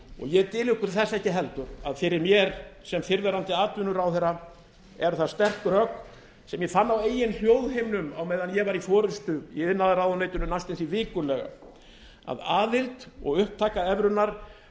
ég dyl ykkur þess ekki heldur að fyrir mér sem fyrrverandi atvinnuráðherra eru það sterk rök sem ég fann á eigin hljóðhimnum meðan ég var í forustu í iðnaðarráðuneytinu næstum því vikulega að aðild og upptaka evrunnar